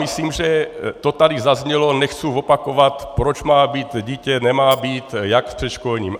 Myslím, že to tady zaznělo, nechci opakovat, proč má být dítě, nemá být, jak v předškolním.